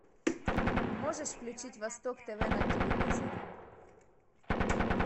можешь включить восток тв на телевизоре